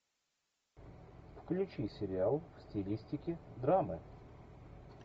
включи сериал в стилистике драмы